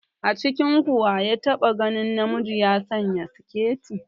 A cikinku wa ya taɓa ganin namiji ya sanya siketi?